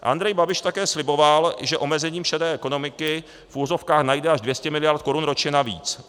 Andrej Babiš také sliboval, že omezením šedé ekonomiky v uvozovkách najde až 200 miliard korun ročně navíc.